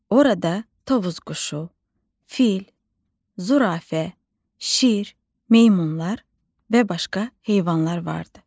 Orada Tovuz quşu, fil, zürafə, şir, meymunlar və başqa heyvanlar vardı.